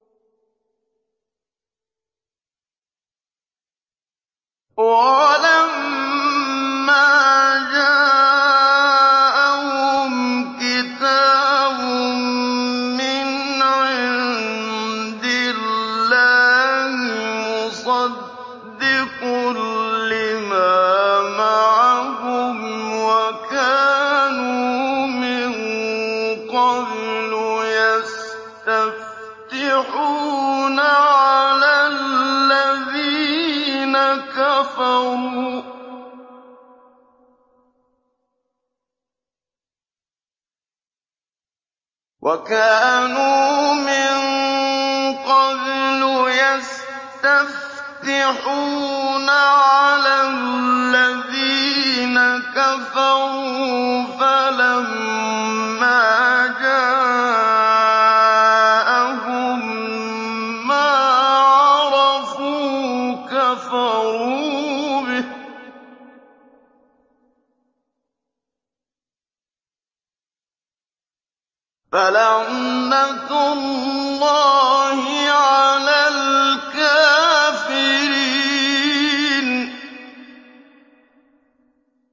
وَلَمَّا جَاءَهُمْ كِتَابٌ مِّنْ عِندِ اللَّهِ مُصَدِّقٌ لِّمَا مَعَهُمْ وَكَانُوا مِن قَبْلُ يَسْتَفْتِحُونَ عَلَى الَّذِينَ كَفَرُوا فَلَمَّا جَاءَهُم مَّا عَرَفُوا كَفَرُوا بِهِ ۚ فَلَعْنَةُ اللَّهِ عَلَى الْكَافِرِينَ